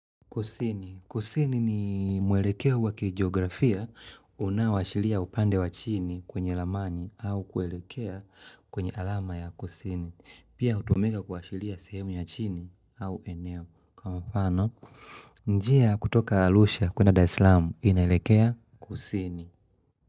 Kusini. Kusini ni mwelekeo wa kigeografia unaowashilia upande wa chini kwenye ramani au kuelekea kwenye alama ya kusini. Pia hutumika kuashiria sehemu ya chini au eneo. Kwa mfano, njia kutoka arusha kuenda dar es salaam inaelekea kusini.